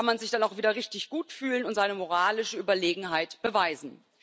Da kann man sich dann auch wieder richtig gut fühlen und seine moralische Überlegenheit beweisen.